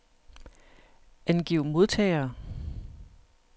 Angiv modtagere.